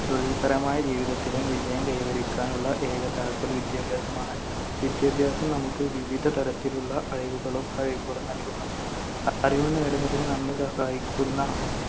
തൊഴിൽപരമായ ജീവിതത്തിലും വിജയം കൈവരിക്കാനുള്ള ഏക താക്കോൽ വിദ്യാഭ്യാസമാണ്. വിദ്യാഭ്യാസം നമുക്ക് വിവിധ തരത്തിലുള്ള അറിവുകളും കഴിവുകളും നൽകുന്നു. അറിവ് നേടുന്നതിന് നമ്മെ സഹായിക്കുന്ന